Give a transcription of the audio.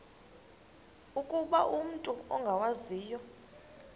ukuba umut ongawazivo